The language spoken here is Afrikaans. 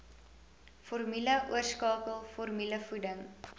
formule oorskakel formulevoeding